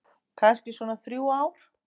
Kannski svona þrjú ár.